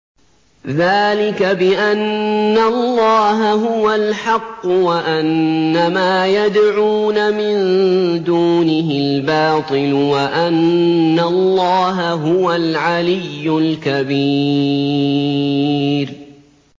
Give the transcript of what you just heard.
ذَٰلِكَ بِأَنَّ اللَّهَ هُوَ الْحَقُّ وَأَنَّ مَا يَدْعُونَ مِن دُونِهِ الْبَاطِلُ وَأَنَّ اللَّهَ هُوَ الْعَلِيُّ الْكَبِيرُ